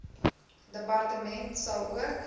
departement sal ook